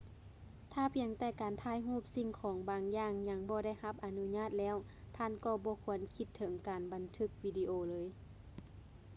ຖ້າພຽງແຕ່ການຖ່າຍຮູບສິ່ງຂອງບາງຢ່າງຍັງບໍ່ໄດ້ຮັບອະນຸຍາດແລ້ວ ທ່ານກໍບໍ່ຄວນຄິດເຖິງການບັນທຶກວິດີໂອເລີຍ